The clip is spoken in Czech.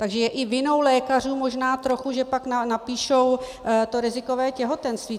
Takže je i vinou lékařů možná trochu, že pak napíšou to rizikové těhotenství.